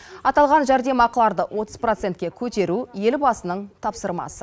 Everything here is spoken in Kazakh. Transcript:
аталған жәрдемақыларды отыз процентке көтеру елбасының тапсырмасы